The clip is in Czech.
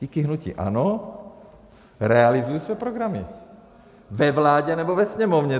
Díky hnutí ANO realizují se programy, ve vládě nebo ve Sněmovně.